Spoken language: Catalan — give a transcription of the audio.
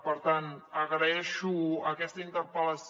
per tant agraeixo aquesta interpel·lació